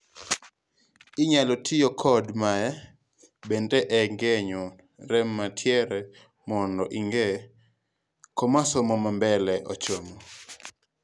inyalo tiyo kod mae bende e ng'eyo rem mantiere mondo inge koma somo mambele ochomo